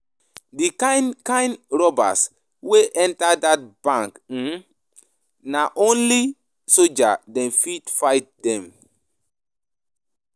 Di kind kind robbers wey enta dat bank eh, na only soldier dem fit fight dem.